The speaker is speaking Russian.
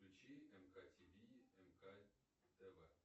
включи мк тиви мк тв